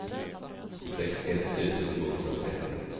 sextioett tusen tvåhundratrettio